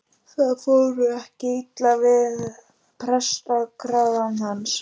Það fór ekki illa við prestakragann hans.